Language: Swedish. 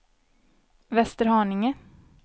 Västerhaninge